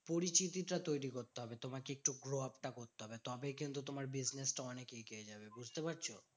পরিচিতিটা তৈরী করতে হবে। তোমাকে একটু growup টা করতে হবে। তবেই কিন্তু তোমার business টা অনেক এগিয়ে যাবে, বুঝতে পারছো?